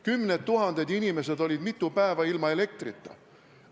Kümned tuhanded inimesed olid mitu päeva ilma elektrita.